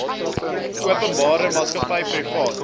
openbare maatskappy privaat